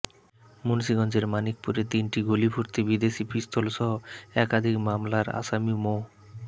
মুন্সীগঞ্জের মানিকপুরে তিনটি গুলিভর্তি বিদেশি পিস্তলসহ একাধিক মামলার আসামি মো